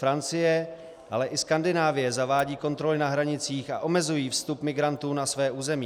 Francie, ale i Skandinávie zavádějí kontroly na hranicích a omezují vstup migrantů na své území.